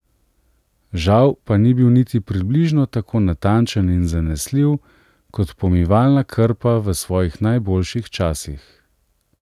Žal pa ni bil niti približno tako natančen in zanesljiv, kot pomivalna krpa v svojih najboljših časih.